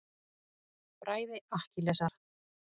Bræði Akkilesar.